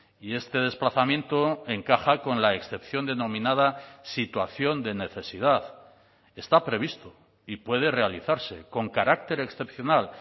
y este desplazamiento encaja con la excepción denominada situación de necesidad está previsto y puede realizarse con carácter excepcional